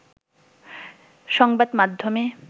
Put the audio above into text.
সংবাদমাধ্যমে